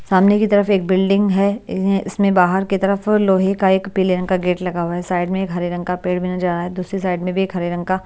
सामने की तरफ़ एक बिल्डिंग है य इसमें बाहर की तरफ़ लोहे का एक पीले रंग का गेट लगा हुआ है साइड में एक हरे रंग का पेड़ भी नजर आ रहा है दूसरी साइड में भी एक हरे रंग का--